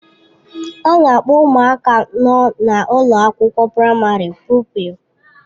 A na-akpọ ụmụaka nọ na ụlọ akwụkwọ praịmarị pụpịl.